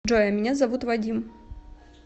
джой а меня зовут вадим